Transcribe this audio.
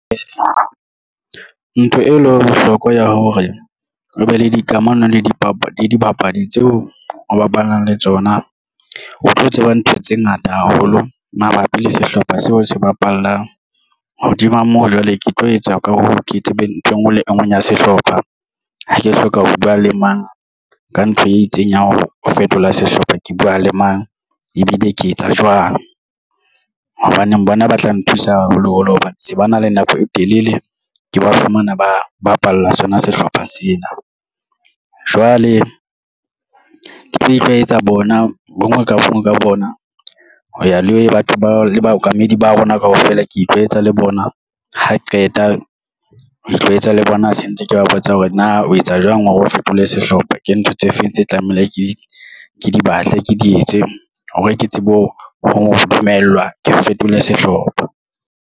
Ntho e le ho bohlokwa hore o be le dikamano le dipapadi tseo o bapalang le tsona o tlo tseba ntho tse ngata haholo mabapi le sehlopha seo se bapalang hodima moo jwale ke tlo etsa ka hoo, ke tsebe ntho engwe le engwe ya sehlopha ha ke hloka ho buwa le mang ka ntho e itseng ya ho fetola sehlopha ke buwa le mang ebile ke etsa jwang. Hobane bona ba tla nthusa haholo holo hobane se ba na le nako e telele ke ba fumana ba bapalla sona sehlopha sena. Jwale ke tlo itlwaetsa bona bonngwe ka buwa ka bona ho ya le batho ba le baokamedi ba rona kaofela ke itlwaetsa le bona ha qeta ho itlwaetsa le bona se ntse ke ba botsa hore na o etsa jwang hore o fetole sehlopha. Ke ntho tse feng tse tlamehile ke dibatle ke di etse hore ke tsebe ho dumellwa ke fetole sehlopha.